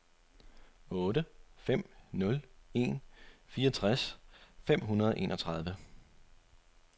otte fem nul en fireogtres fem hundrede og enogtredive